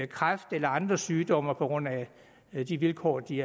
kræft eller andre sygdomme på grund af de vilkår de